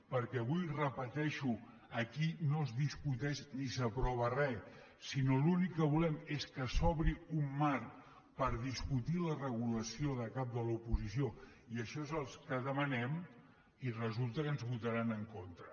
perquè avui ho repeteixo aquí no es discuteix ni s’aprova re sinó que l’únic que volem és que s’obri un marc per discutir la regulació del cap de l’oposició i això és el que demanem i resulta que ens ho votaran en contra